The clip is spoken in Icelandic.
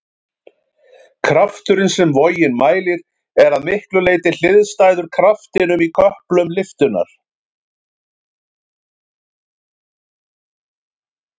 Krafturinn sem vogin mælir er að miklu leyti hliðstæður kraftinum í köplum lyftunnar.